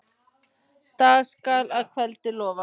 Dag skal að kveldi lofa.